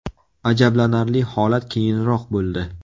Ajablanarli holat keyinroq bo‘ldi.